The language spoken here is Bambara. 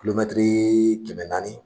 Kulomɛtiri kɛmɛ naani